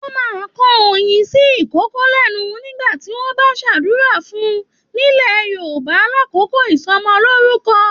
Wọn máa n kàn oyin sí ìkokò lẹnu nígbà tí wọn bá n s'adura fún nilẹ̀ Yorùbá l'akoko ìsọmọlorúkọ.